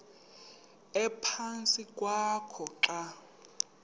ephantsi kwakho xa